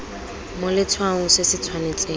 mo letshwaong se se tshwanetseng